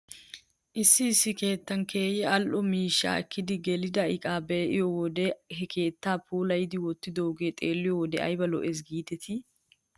Issi issi keettan keehi al''o miishshaa ekkidi gelida iqaa be'iyoo wode he keettaa puulayidi wottidaagee xeeliyoo wode ayba lo'es giidetii